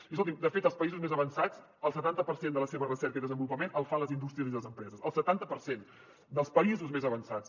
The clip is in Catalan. i escolti’m de fet els països més avançats el setanta per cent de la seva recerca i desenvolupament el fan les indústries i les empreses el setanta per cent dels països més avançats